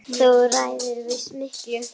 Þú ræður víst miklu.